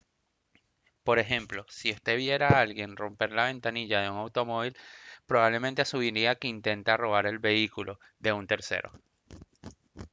por ejemplo si usted viera a alguien romper la ventanilla de un automóvil probablemente asumiría que intenta robar el vehículo de un tercero